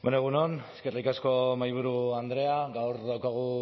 egun on eskerrik asko mahaiburu andrea gaur daukagu